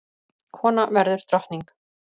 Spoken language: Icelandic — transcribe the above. Kona verður drottning!